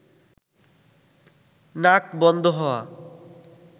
নাক বন্ধ হওয়া